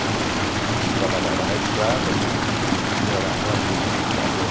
Porque ele trabalhava na estrada e morava ali como zelador.